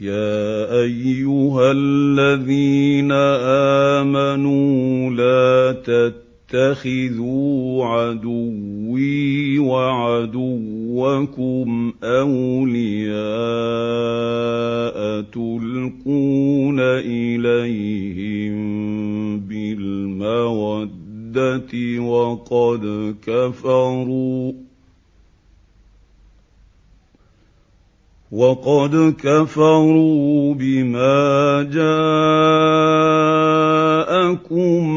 يَا أَيُّهَا الَّذِينَ آمَنُوا لَا تَتَّخِذُوا عَدُوِّي وَعَدُوَّكُمْ أَوْلِيَاءَ تُلْقُونَ إِلَيْهِم بِالْمَوَدَّةِ وَقَدْ كَفَرُوا بِمَا جَاءَكُم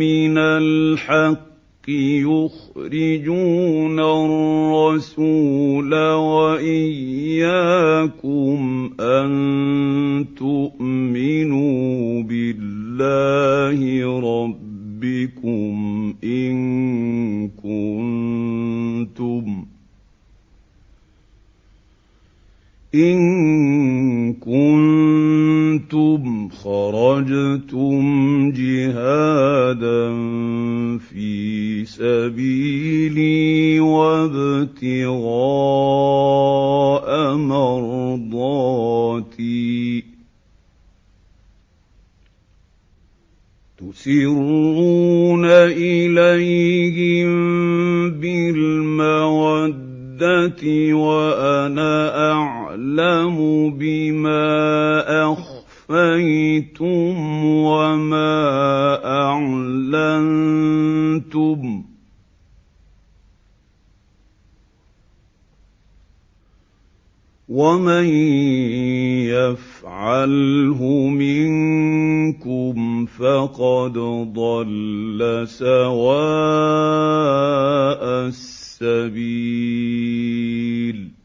مِّنَ الْحَقِّ يُخْرِجُونَ الرَّسُولَ وَإِيَّاكُمْ ۙ أَن تُؤْمِنُوا بِاللَّهِ رَبِّكُمْ إِن كُنتُمْ خَرَجْتُمْ جِهَادًا فِي سَبِيلِي وَابْتِغَاءَ مَرْضَاتِي ۚ تُسِرُّونَ إِلَيْهِم بِالْمَوَدَّةِ وَأَنَا أَعْلَمُ بِمَا أَخْفَيْتُمْ وَمَا أَعْلَنتُمْ ۚ وَمَن يَفْعَلْهُ مِنكُمْ فَقَدْ ضَلَّ سَوَاءَ السَّبِيلِ